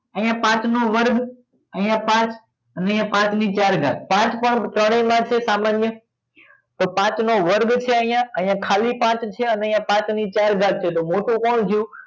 અહીંયા પાંચ નો વર્ગ અહીંયા પાંચ અને અહીંયા પાંચ ને ચાર ઘાટ પાંચ પાંચ ત્રણેયમાં છે સામાન્ય તો પાંચ નો વર્ગ છે અહીંયા અહીંયા ખાલી પાંચ છે અને અહિયાં પાંચ ને ચાર ઘાત છે તો મોટો કોણ થયું